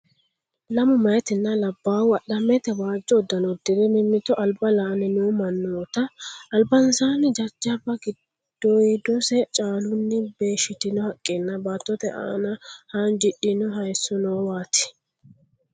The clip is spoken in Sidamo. Lamu maaytinna labbaayhu adhammenita waajjo uddano uddire mimmito alba la'anni no mannoota, albansaanni jajjabba giddoyidose caalunni beeshshitino haqqenna baattote aana haanjidhino haayisso noowaati.